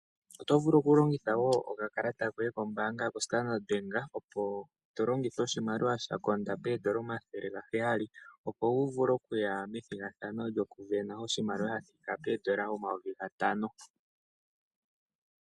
Oto vulu okulongitha okakalata koye kombaanga yoStandard, to longitha oshimaliwa sha konda pooN$ 700, opo wu vule okuya methigathano lyokusindana oshimaliwa sha thika pooN$ 5000.